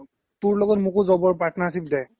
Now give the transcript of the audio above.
তোৰ লগত মোকো job ৰ partnership দে